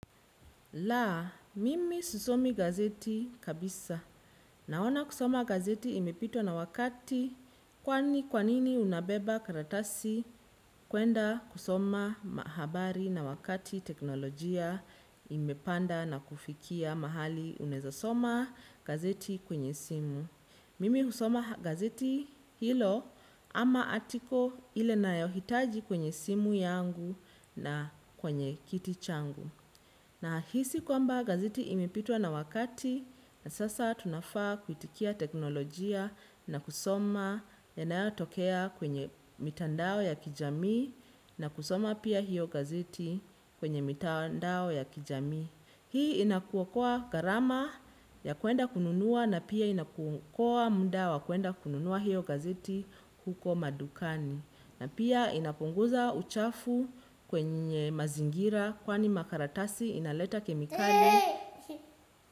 La, mimi sisomi gazeti kabisa. Naona kusoma gazeti imepitwa na wakati kwani kwanini unabeba karatasi, kwenda kusoma mahabari na wakati teknolojia imepanda na kufikia mahali unaeza soma, gazeti kwenye simu. Mimi husoma gazeti hilo ama atiko ile nayohitaji kwenye simu yangu na kwenye kiti changu. Na hisi kwamba gazeti imepitwa na wakati na sasa tunafaa kuitikia teknolojia na kusoma yanayatokea kwenye mitandao ya kijamii na kusoma pia hiyo gazeti kwenye mitandao ya kijamii. Hii inakuokoa gharama ya kuenda kununua na pia inakuokoa muda wa kuenda kununua hiyo gazeti huko madukani. Na pia inapunguza uchafu kwenye mazingira, kwani makaratasi inaleta kemikali.